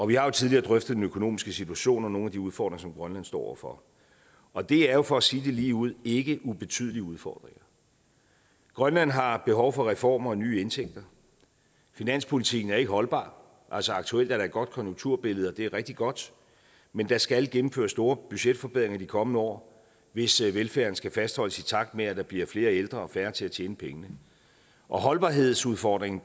vi har jo tidligere drøftet den økonomiske situation og nogle af de udfordringer som grønland står over for og det er jo for at sige det ligeud ikke ubetydelige udfordringer grønland har behov for reformer og nye indtægter finanspolitikken er ikke holdbar altså aktuelt er der et godt konjunkturbillede og det er rigtig godt men der skal gennemføres store budgetforbedringer de kommende år hvis velfærden skal fastholdes i takt med at der bliver flere ældre og færre til at tjene pengene og holdbarhedsudfordringen